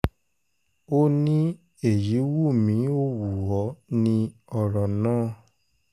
ó ní èyí wù mí ó wù ọ́ ní ọ̀rọ̀ náà